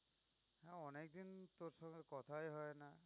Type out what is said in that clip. অনেক দিন তোর সাথে কথাই হয় না।